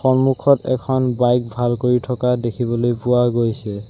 সন্মুখত এখন বাইক ভাল কৰি থকা দেখিবলৈ পোৱা গৈছে।